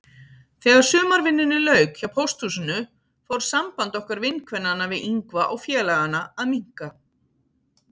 Þegar sumarvinnunni lauk hjá pósthúsinu fór samband okkar vinkvennanna við Ingva og félagana að minnka.